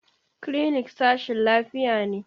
Clinic sashin lafiya ne.